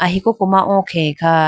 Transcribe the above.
ee koko ma oo khege kha.